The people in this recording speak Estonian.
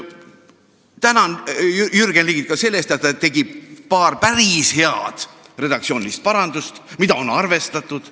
Tänan Jürgen Ligi ka selle eest, et ta tegi paar päris head redaktsioonilist parandust, mida on arvestatud.